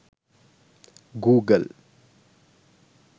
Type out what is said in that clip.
google